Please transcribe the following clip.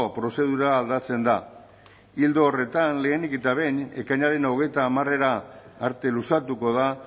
prozedura aldatzen da ildo horretan lehenik eta behin ekainaren hogeita hamarera arte luzatuko da